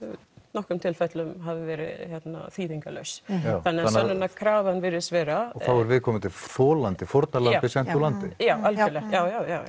nokkrum tilfellum hafi verið þýðingarlaus þannig að virðist vera þá er viðkomandi þolandi fórnarlambið sent úr landi já